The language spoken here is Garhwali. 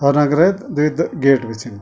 और अग्रेत द्वि द गेट बि छिन।